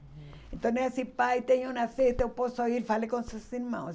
Então, é assim, pai, tem uma festa, eu posso ir, fale com seus irmãos.